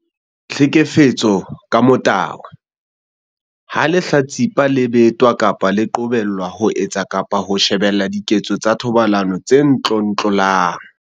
Tlhekefetso ka motabo- Ha lehlatsipa le betwa kapa le qobelwa ho etsa kapa ho shebella diketso tsa thobalano tse tlontlollang.